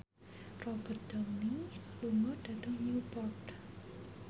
Robert Downey lunga dhateng Newport